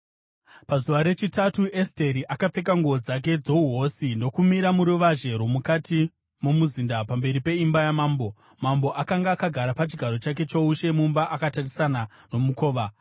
Pazuva rechitatu Esteri akapfeka nguo dzake dzouhosi ndokumira muruvazhe rwomukati momuzinda, pamberi peimba yamambo. Mambo akanga akagara pachigaro chake choushe mumba, akatarisana nomukova.